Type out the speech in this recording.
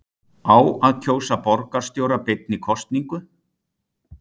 Á að kjósa borgarstjóra beinni kosningu?